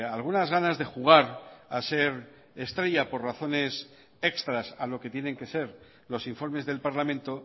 algunas ganas de jugar a ser estrellas por razones extras a lo que tienen que ser los informes del parlamento